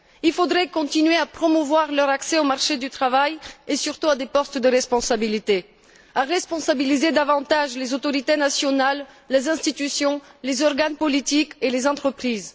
Il faudrait continuer à promouvoir leur accès au marché du travail, et surtout à des postes à responsabilités, ainsi qu'à responsabiliser davantage les autorités nationales, les institutions, les organes politiques et les entreprises.